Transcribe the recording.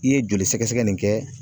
I ye joli sɛgɛsɛgɛ nin kɛ